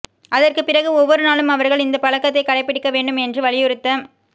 அதற்குப் பிறகு ஒவ்வொரு நாளும் அவர்கள் இந்தப் பழக்கத்தைக் கடைப்பிடிக்க வேண்டும் என்று வலியுறுத்த